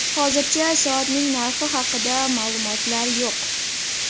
Hozircha soatning narxi haqida ma’lumotlar yo‘q.